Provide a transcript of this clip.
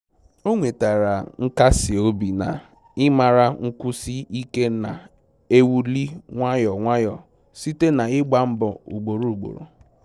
O nwetara nkasi obi n'ịmara nkwụsi ike na-ewuli nwayọ nwayọ site na ịgba mbọ ugboro ugboro